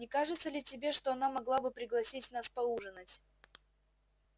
не кажется ли тебе что она могла бы пригласить нас поужинать